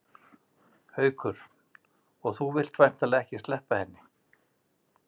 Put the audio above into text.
Haukur: Og þú vilt væntanlega ekki sleppa henni?